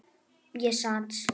Ég sat.